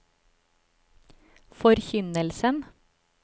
forkynnelsen